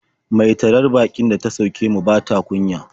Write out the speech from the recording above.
Mai taryar baƙin da ta sauke mu ba ta kunya.